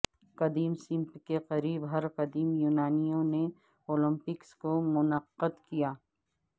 قدیم سمت کے قریب ہر قدیم یونانیوں نے اولمپکس کو منعقد کیا